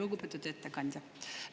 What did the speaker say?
Lugupeetud ettekandja!